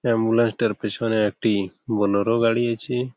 ambulance টার পিছনে একটি বোলেরো গাড়ি আছে--